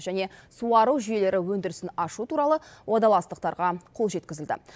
және суару жүйелері өндірісін ашу туралы уағдаластықтарға қол жеткізілді